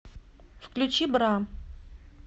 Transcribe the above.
включи бра